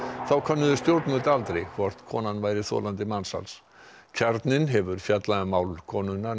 þá könnuðu stjórnvöld aldrei hvort konan væri þolandi mansals kjarninn hefur fjallað um mál konunnar